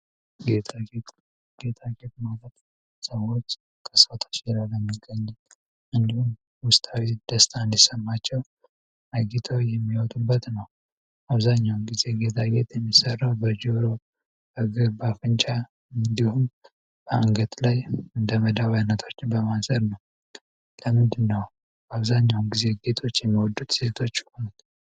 ጌጣ ጌት ማገት ሰዎች ከሰተች የላል የሚገኝ እንዲሁም ውስታዊ ስደስታ እንዲሰማቸው አግታው የሚወቱንበት ነው አብዛኛውን ጊዜ ጌታጌት የሚሠራው በርጂሮ እገርባፍnቻ እንዲሁም በአንገት ላይ እንደመዳዋነቶች በማዘር ነው ለምድነው በአብዛኛውን ጊዜ ጌቶች የሚወዱት ሴቶች ሆን